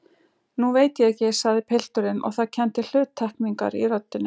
Nú veit ég ekki, sagði pilturinn og það kenndi hluttekningar í röddinni.